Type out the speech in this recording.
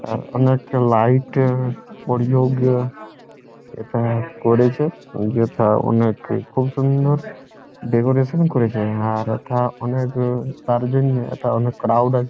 আ অনেক লাইট এ- প্রয়োগ এখানে করেছে | যেথা অনেক খুব সুন্দর ডেকোরেশন করেছে আর হেথা অনেক অ তার জন্যে হেথা অনেক ক্রাউড আছে ।